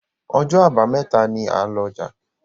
Ọjọ́ Àbàmẹ́ta ní a lò ọja.